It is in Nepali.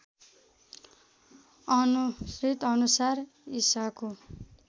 अनुश्रित अनुसार इशाको